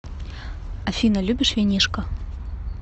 афина любишь винишко